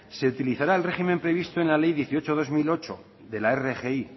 se utilizará el régimen previsto en la ley dieciocho barra dos mil ocho de la rgi